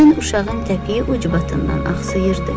Kürən uşağın təpiyi ucbatından axsıyırdı.